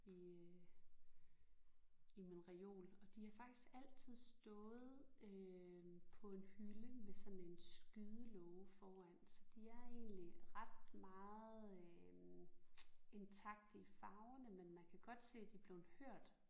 I i min reol og de har faktisk altid stået øh på en hylde med sådan en skydelåge foran så de er egentlig ret meget øh intakte i farverne men man kan godt se de er blevet hørt